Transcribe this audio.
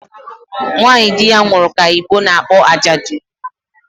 Nwanyị di ya nwụrụ ka Igbo na-akpọ ajadụ